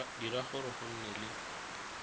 dira gore go nne le